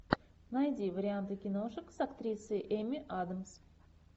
найди варианты киношек с актрисой эмми адамс